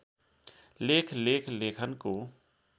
लेख लेख लेखनको